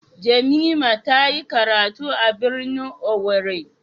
Jamimah tayi karatu a birnin owerri.